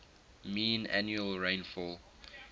mean annual rainfall